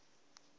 a se ke a be